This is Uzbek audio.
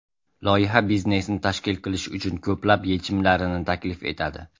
Loyiha biznesni tashkil qilish uchun ko‘plab yechimlarini taklif etadi.